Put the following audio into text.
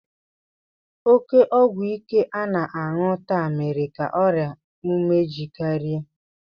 Oke ọgwụ ike a na-aṅụ taa mere ka ọrịa umeji karịa